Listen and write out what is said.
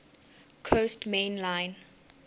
coast main line